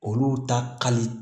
Olu ta ka di